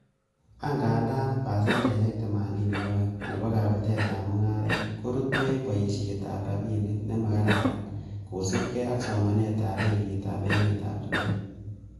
Angandan, pasendeisiek themanini ak oeng, nebo kabutetab mungaret korutu en boishietab rabinik nemakaran, kosiibge ak somanetab benkitab emetab chumbek.